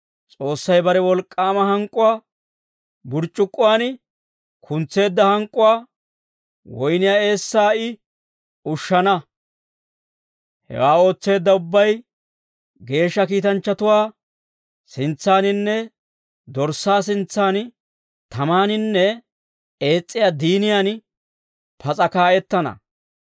S'oossay bare wolk'k'aama hank'k'uwaa burc'c'ukkuwaan kuntseedda hank'k'uwaa woyniyaa eessaa I ushana. Hewaa ootseedda ubbay geeshsha kiitanchchatuwaa sintsaaninne Dorssaa sintsan, tamaaninne ees's'iyaa diiniyan pas'a kaa'ettana.